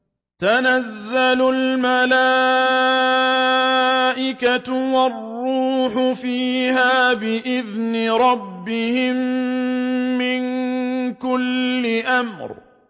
تَنَزَّلُ الْمَلَائِكَةُ وَالرُّوحُ فِيهَا بِإِذْنِ رَبِّهِم مِّن كُلِّ أَمْرٍ